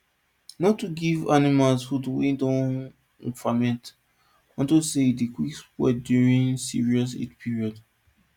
no too give animals food wey don ferment unto say e dey quick spoil during serious heat period